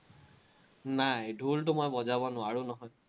নাই, ঢোলটো মই বজাব নোৱাৰো নহয়।